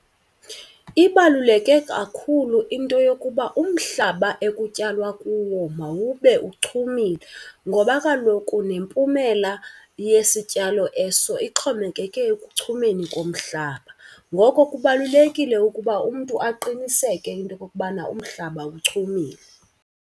Ibaluleke kakhulu into yokuba umhlaba ekutyalwa kuwo mawube uchumile ngoba kaloku nempumela yesityalo eso ixhomekeke ekuchumeni komhlaba. Ngoko kubalulekile ukuba umntu aqiniseke into okokubana umhlaba uchumile.